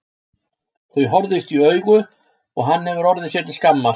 Þau horfðust í augu og hann hefur orðið sér til skammar.